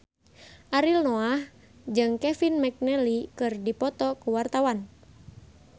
Ariel Noah jeung Kevin McNally keur dipoto ku wartawan